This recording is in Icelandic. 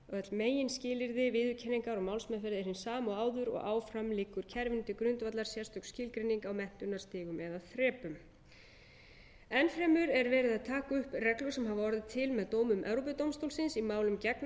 öll meginskilyrði viðurkenningar og málsmeðferðar eru hin sömu og áður og áfram liggur kerfinu til grundvallar sérstök skilgreining á menntunarstigum eða þrepum enn fremur er verið að taka upp reglur sem hafa orðið til með dómum evrópudómstólsins í málum gegn aðildarríkjum e s b sem varðað